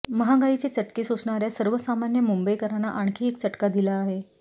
महागाईचे चटके सोसणार्या सर्वसामान्य मुंबईकरांना आणखी एक चटका दिला आहे